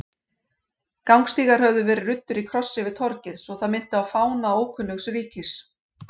Gangstígar höfðu verið ruddir í kross yfir torgið svo það minnti á fána ókunnugs ríkis.